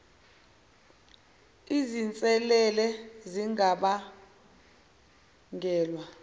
izin selele zingabangelwa